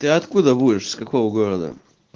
ты откуда будешь с какого города